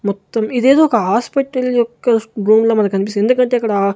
మొత్తం ఇదేదో ఒక హాస్పిటల్ యొక్క రూమ్ లా మన కనిపిస్తుంది ఎందుకంటే అక్కడ--